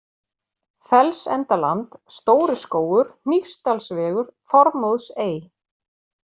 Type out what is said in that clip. Fellsendaland, Stóri Skógur, Hnífsdalsvegur, Þorðmóðsey